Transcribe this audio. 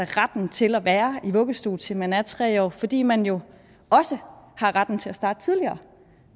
retten til at være i vuggestue til man er tre år fordi man jo også har retten til at starte tidligere